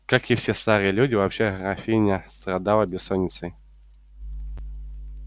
как и все старые люди вообще графиня страдала бессонницею